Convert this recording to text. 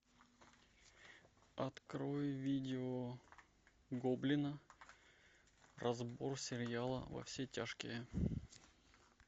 открой видео гоблина разбор сериала во все тяжкие